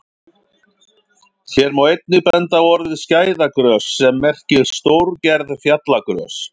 Hér má einnig benda á orðið skæðagrös sem merkir stórgerð fjallagrös.